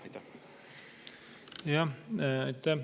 Aitäh!